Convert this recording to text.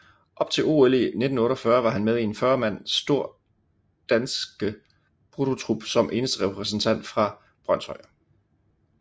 Op til OL i 1948 var han med i en 40 mand stor danske bruttotrup som eneste repræsentant fra Brønshøj